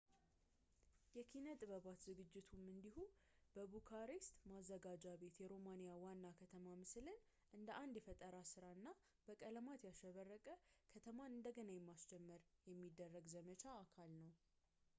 የኪነ-ጥበባት ዝግጅቱም እንዲሁ በቡካሬስት ማዘጋጃ ቤት የሮማኒያ ዋና ከተማ ምስልን እንደ አንድ የፈጠራ እና በቀለማት ያሸበረቀ ከተማን እንደገና ለማስጀመር የሚደረግ ዘመቻ አካል ነው